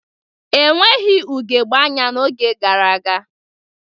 Enweghị ugogbe anya n'oge gara aga